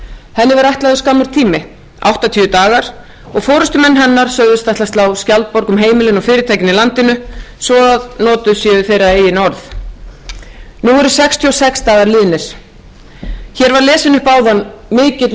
henni var ætlaður skammur tími áttatíu dagar og forustumenn hennar sögðust ætla að slá skjaldborg um heimilin og fyrirtækin í landinu svo notuð séu þeirra eigin orð nú eru sextíu og sex dagar liðnir hér var lesinn upp áðan mikill og